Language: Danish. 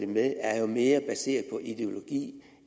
med er jo mere baseret på ideologi